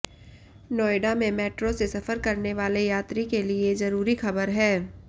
नोएडा में मेट्रो से सफर करने वाले यात्री के लिए जरूरी खबर है